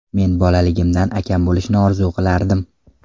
Men bolaligimdan akam bo‘lishini orzu qilardim.